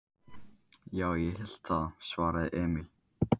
Já, ég held það, svaraði Emil.